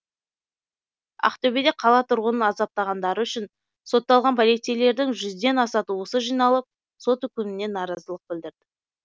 ақтөбеде қала тұрғынын азаптағандары үшін сотталған полицейлердің жүзден аса туысы жиналып сот үкіміне наразылық білдірді